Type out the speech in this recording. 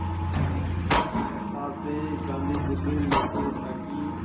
कलकत्ता से गांधी दिल्ली लौटे ताकि